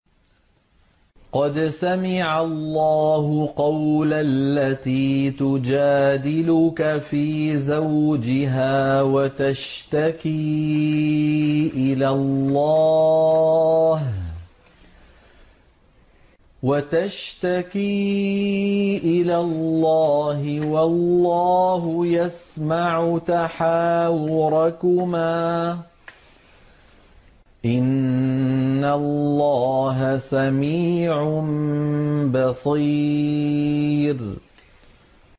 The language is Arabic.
قَدْ سَمِعَ اللَّهُ قَوْلَ الَّتِي تُجَادِلُكَ فِي زَوْجِهَا وَتَشْتَكِي إِلَى اللَّهِ وَاللَّهُ يَسْمَعُ تَحَاوُرَكُمَا ۚ إِنَّ اللَّهَ سَمِيعٌ بَصِيرٌ